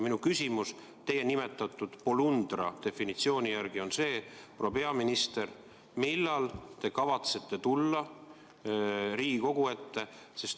Minu küsimus teie nimetatud polundra definitsiooni järgi on see, proua peaminister, et millal te kavatsete tulla Riigikogu ette.